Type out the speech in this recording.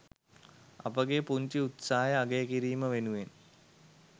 අපගේ පුංචි උත්සාහය අගය කිරීම වෙනුවෙන්.